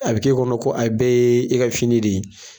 A bɛ k'e kɔnɔ ko a bɛɛ ye e ka fini de ye.